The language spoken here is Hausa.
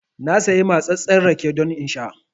Na sayi matsattsen rake don in sha